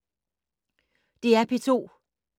DR P2